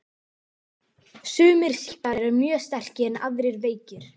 Sumir sýklar eru mjög sterkir en aðrir veikir.